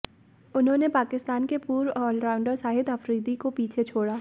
उन्होंने पाकिस्तान के पूर्व ऑलराउंडर शाहिद अफरीदी को पीछे छोड़ा